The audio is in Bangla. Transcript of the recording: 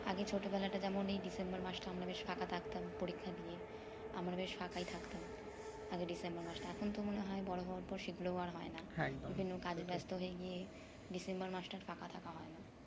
আগে ছটোবেলাটা যেমন এই december মাসটা আমরা বেশ ফাঁকা থাকতাম পরীক্ষা দিয়ে আমরা বেশ ফাঁকাই থাকতাম আগে December মাসটা এখনতো মনে হয় বড়ো হবার পর সেগুলোও আর হয় না বিভিন্ন কাজে ব্যাস্ত হয়ে গিয়ে december মাসটা আর ফাঁকা থাকা হয় না